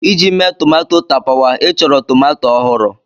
Iji mee tomato tapawa, ị chọrọ tomato ọhụrụ.